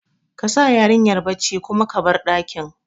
Kasa yarinyar bacci kuma ka bar ɗakin